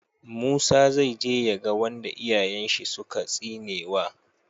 Musa zai je ya ga wanda iyayen shi suka tsinewa